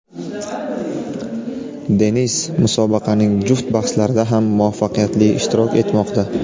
Denis musobaqaning juft bahslarida ham muvaffaqiyatli ishtirok etmoqda.